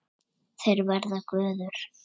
Þeir verða gufur.